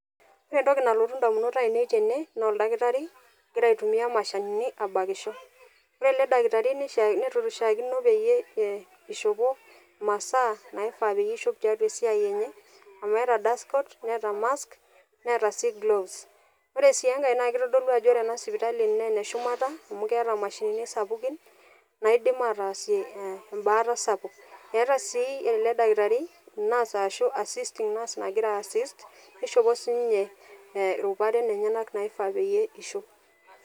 ore entoki nalotu damunot ainei tene naa oldakitari ogira abakisho. ore ele dakitari nishaakino peyie eishopo imasaa naifaa peyie eishop tesiai enye, amu eeta dust coat neeta mask neeta sii gloves ore sii enkae, naa kitodlu ajo ore ena sipitali naa ene shumata. amu keta mashinini sapukin naaidim aatasie ebaata sapuk. eeta ssi ele dakitari. nurse ashu assisting nurse nagira ae assist neishopo si ninye iruparen enyenak naifaa peyie eishop.